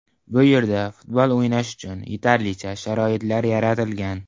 Bu yerda futbol o‘ynash uchun yetarlicha sharoitlar yaratilgan.